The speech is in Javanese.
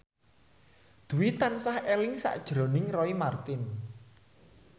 Dwi tansah eling sakjroning Roy Marten